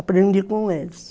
Aprendi com eles.